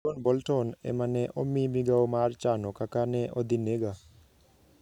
John Bolton ema ne omi migawo mar chano kaka ne odhi nega'